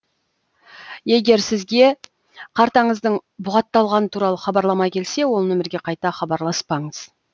егер сізге картаңыздың бұғатталғаны туралы хабарлама келсе ол номерге қайта хабарласпаңыз